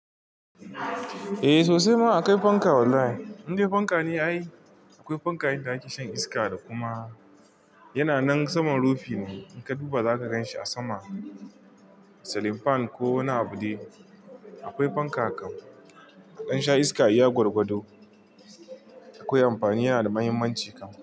Eh sosai ma akwai fanka wallahi. Indai fanka ne ai. Akwai fanka inda ake shan iska da kuma yana nan saman rufi ne. In ka duba za ka gan shi a sama. Celin fan ko wani abu dai. Akwai fanka kan, a dan sha iska iya gwargwado. Akwai amfani yana da mahimmanci kam.